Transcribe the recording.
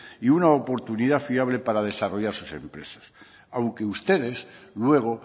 y una oportunidad fiable para desarrollar sus empresas aunque ustedes luego